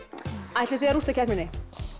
ætlið þið að rústa keppninni